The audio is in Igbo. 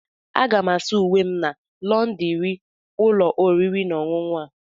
Aga m asa uwe m na lọndrị ụlọ oriri na ọṅụṅụ a.